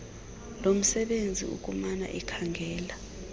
lomsebenzisi ukumana ekhangela